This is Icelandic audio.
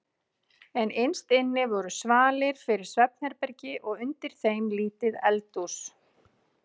En innst inni eru svalir fyrir svefnherbergi og undir þeim lítið eldhús.